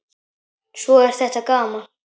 Svo er þetta gaman.